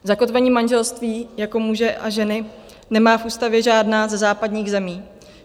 Zakotvení manželství jako muže a ženy nemá v ústavě žádná ze západních zemí.